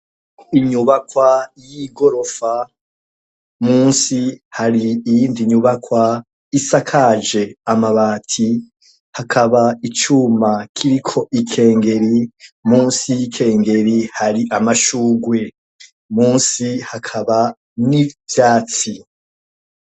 Inyubakwa y'i gorofa musi hari iyindi nyubakwa isakaje amabati hakaba icuma kiriko ikengeri musi y'ikengeri hari amashugwe musi hakaba n'ivyatsiyo.